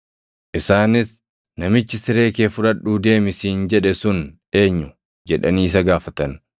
Isaanis, “Namichi siree kee fudhadhuu deemi siin jedhe sun eenyu?” jedhanii isa gaafatan.